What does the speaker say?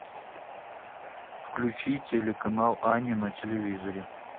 включи телеканал ани на телевизоре